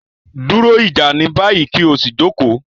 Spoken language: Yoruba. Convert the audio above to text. Duro ija ni bayi, ki o si joko